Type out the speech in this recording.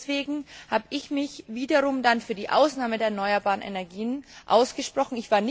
Deswegen habe ich mich wiederum für die Ausnahme der erneuerbaren Energien ausgesprochen.